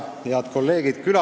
Head kolleegid!